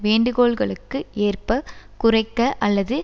வேண்டுகோள்களுக்கு ஏற்ப குறைக்க அல்லது